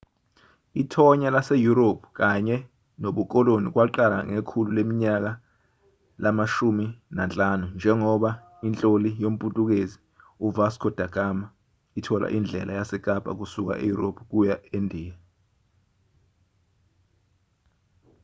ithonya laseyurophu kanye nobukoloni kwaqala ngekhulu leminyaka lama-15 njengoba inhloli yomputukezi u-vasco da gama ithola indlela yasekapa kusuka eyurophu ukuya endiya